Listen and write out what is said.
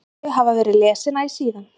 Þau hafa verið lesin æ síðan.